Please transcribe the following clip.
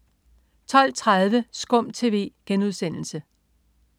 12.30 SKUM TV*